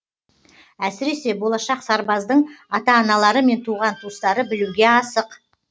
әсіресе болашақ сарбаздың ата аналары мен туған туыстары білуге асық